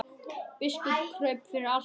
Biskup kraup fyrir altari.